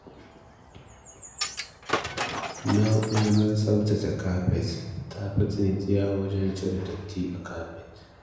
Na’urar tsaftace kafet tafi tsintsiya wajen cire datti a kafet.